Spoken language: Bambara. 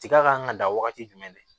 Tiga kan ka dan wagati jumɛn de